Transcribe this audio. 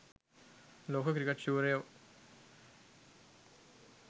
ලෝක ක්‍රිකට් ශූරයෝ